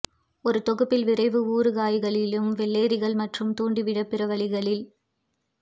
ஒரு தொகுப்பில் விரைவு ஊறுகாய்களிலும் வெள்ளரிகள் மற்றும் தூண்டிவிட பிற வழிகளில்